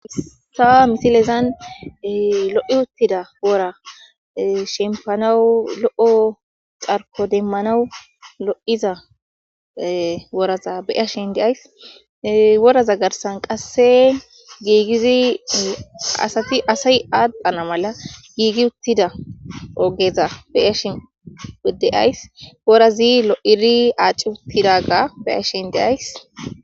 Ha misilezan lo7i uttida wora shempanawu lo7o carko deemmanawu lo7iza woraza beyashin deays woraza garsan qasse giigizi asati asay adhana mala gigi uttida ogeza beyashin dea'ys worazi lo7idi aci uttidaga bea'shin deays.